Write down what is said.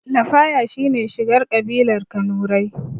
Lafaya shine shigar ƙabilar kanurai